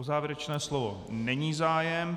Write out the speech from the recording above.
O závěrečné slovo není zájem.